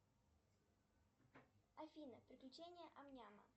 афина приключения ам няма